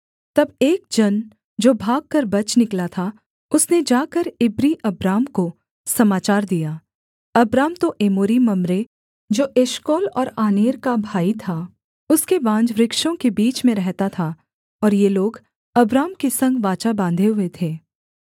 तब एक जन जो भागकर बच निकला था उसने जाकर इब्री अब्राम को समाचार दिया अब्राम तो एमोरी मम्रे जो एशकोल और आनेर का भाई था उसके बांजवृक्षों के बीच में रहता था और ये लोग अब्राम के संग वाचा बाँधे हुए थे